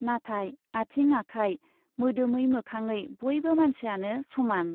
नाथाय आथिं आखाय , मोदोमै मोखाङै बयबो मानसियानो समान ।